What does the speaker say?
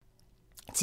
TV 2